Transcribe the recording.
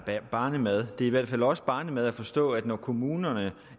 barnemad det er i hvert fald også barnemad at forstå at når kommunerne